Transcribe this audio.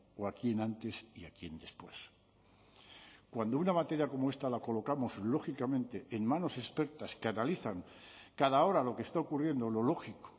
o a quién antes y a quién después cuando una materia como esta la colocamos lógicamente en manos expertas que analizan cada hora lo que está ocurriendo lo lógico